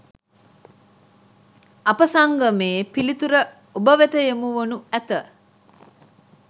අප සංගමයේ පිළිතුර ඔබවෙත යොමුවනු ඇත